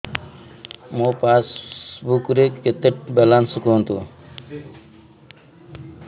ମୋ ପାସବୁକ୍ ରେ କେତେ ବାଲାନ୍ସ କୁହନ୍ତୁ